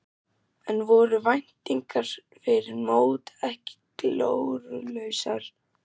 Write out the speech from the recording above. En voru væntingarnar fyrir mót ekki glórulausar?